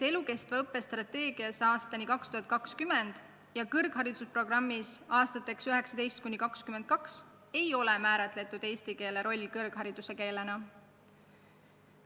Elukestva õppe strateegias aastani 2020 ja kõrghariduse programmis aastateks 2019–2022 ei ole määratletud eesti keele roll kõrghariduse keelena.